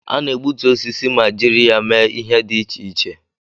A na-egbutu osisi ma jiri ya mee ihe dị iche iche